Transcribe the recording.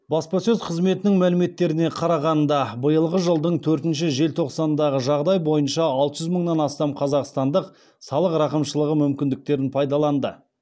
баспасөз қызметінің мәліметтеріне қарағанда биылғы жылдың төртінші желтоқсандағы жағдай бойынша алты жүз мыңнан астам қазақстандық салық рақымшылығы мүмкіндіктерін пайдаланды